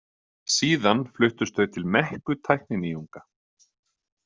Síðan fluttust þau til mekku tækninýjunga.